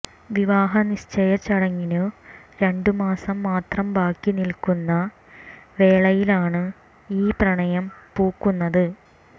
വിവാഹ നിശ്ചയ ചടങ്ങിനു രണ്ട് മാസം മാത്രം ബാക്കി നിൽക്കുന്ന വേളയിലാണ് ഈ പ്രണയം പൂക്കുന്നത്